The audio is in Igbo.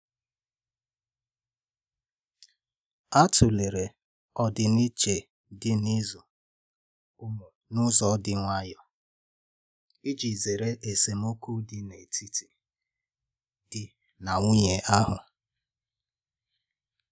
A tụ̀lere ọdiiche dị n'ịzụ ụmụ n'ụzọ dị nwayò iji zere esemokwu n'etiti di na nwunye ahu.